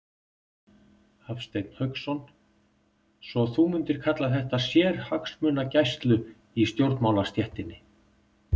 Hafsteinn Hauksson: Svo þú mundir kalla þetta sérhagsmunagæslu í stjórnmálastéttinni?